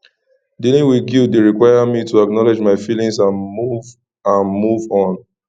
dealing with guilt dey require me to acknowledge my feelings and move and move on